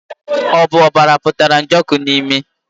Ọ bụ ọbara pụtara Njoku n'imi?